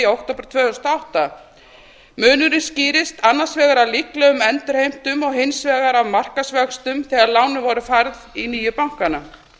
október tvö þúsund og átta munurinn skýrist annars vegar af líklegum endurheimtum og hins vegar af markaðsvöxtum þegar lánin voru færð í nýju bankana